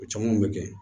O caman bɛ kɛ